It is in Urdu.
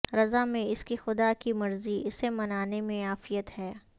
رضا میں اس کی خدا کی مرضی اسے منانے میں عافیت ہے